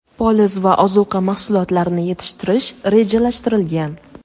poliz va ozuqa mahsulotlarini yetishtirish rejalashtirilgan.